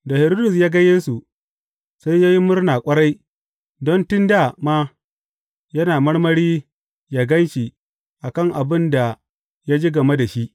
Da Hiridus ya ga Yesu, sai ya yi murna ƙwarai, don tun dā ma yana marmari ya gan shi a kan abin da ya ji game da shi.